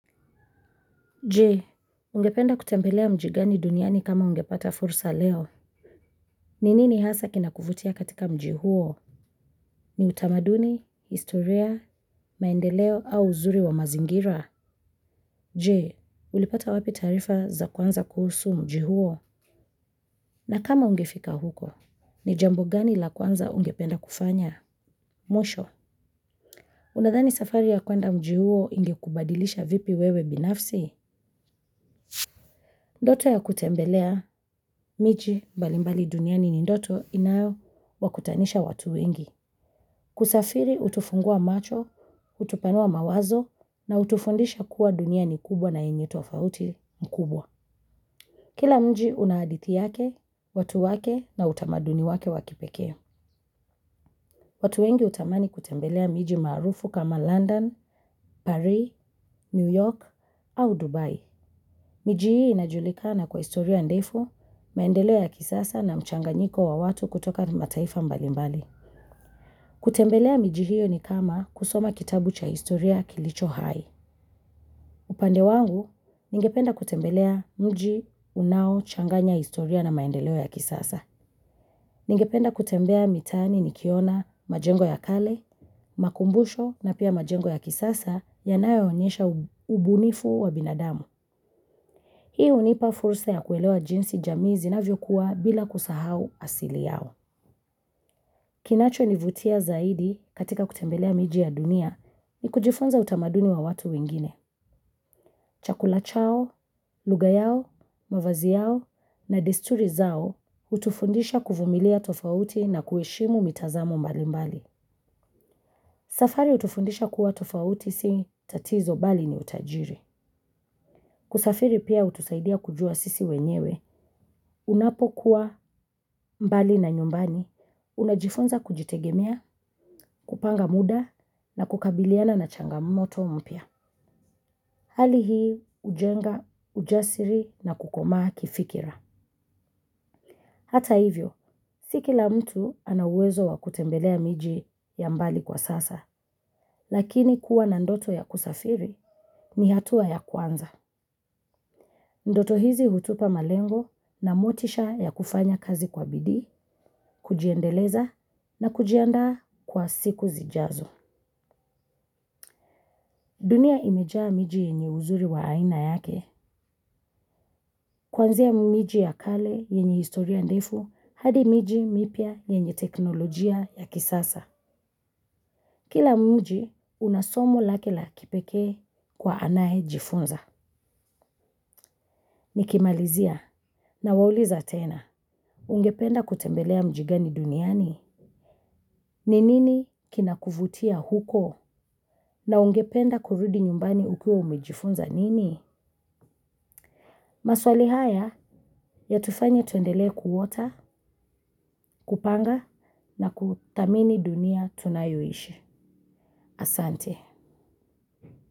Je, ungependa kutembelea mji gani duniani kama ungepata fursa leo? Ni nini hasa kinakuvutia katika mji huo? Ni utamaduni, historia, maendeleo au uzuri wa mazingira? Je, ulipata wapi taarifa za kuwaza kuhusu mji huo? Na kama ungefika huko, ni jambo gani la kwanza ungependa kufanya? Mwisho, unadhani safari ya kwenda mji huo ilikubadilisha vipi wewe binafsi? Ndoto ya kutembelea miji balimbali duniani ni ndoto inayo wakutanisha watu wengi. Kusafiri utufungua macho, utupanua mawazo na utufundisha kuwa dunia ni kubwa na yenye utofauti mkubwa. Kila mji una hadithi yake, watu wake na utamaduni wake wakipekee. Watu wengi hutamani kutembelea miji maarufu kama London, parii, New York au Dubai. Miji hii inajulikana kwa historia ndefu, maendeleo ya kisasa na mchanganyiko wa watu kutoka mataifa mbalimbali. Kutembelea miji hii ni kama kusoma kitabu cha historia kilicho hai. Upande wangu, ningependa kutembelea mji unaochanganya historia na maendeleo ya kisasa. Ningependa kutembea mitaani nikiona majengo ya kale, makubusho na pia majengo ya kisasa yanayoonyesha ubunifu wa binadamu. Hii hunipa fursa ya kuelewa jinsi jamii zinavyokuwa bila kusahau asili yao. Kinachonivutia zaidi katika kutembelea miji ya dunia ni kujifunza utamaduni wa watu wengine. Chakula chao, lugha yao, mavazi yao na desturi zao utufundisha kuvumilia tofauti na kueshimu mitazamo mbalimbali. Safari utufundisha kuwa tofauti si tatizo bali ni utajiri. Kusafiri pia utusaidia kujua sisi wenyewe unapokuwa mbali na nyumbani, unajifunza kujitegemea, kupanga muda na kukabiliana na changamoto mpya. Hali hii hujenga ujasiri na kukomaa kifikira. Hata hivyo, si kila mtu anauwezo wa kutembelea miji ya mbali kwa sasa, lakini kuwa na ndoto ya kusafiri ni hatua ya kwanza. Ndoto hizi hutupa malengo na motisha ya kufanya kazi kwa bidii, kujiendeleza na kujiandaa kwa siku zijazo. Dunia imejaa miji yenye uzuri wa aina yake. Kuanzia miji ya kale yenye historia ndefu hadi miji mipya yenye teknolojia ya kisasa. Kila mji una somo lake la kipekee kwa anaejifunza. Nikimalizia na wauliza tena. Ungependa kutembelea mjigani duniani? Ni nini kinakuvutia huko? Na ungependa kurudi nyumbani ukiwa umejifunza nini? Maswali haya yatufanya tuendelea kuota, kupanga na kuthamini dunia tunayoishi. Asante.